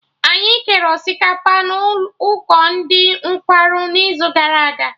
Anyị kere osikapa na ụkọ ndị nkwarụ n'izugara aga